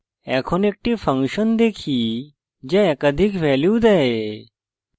এখন একটি ফাংশন দেখি যা একাধিক ভ্যালু দেয়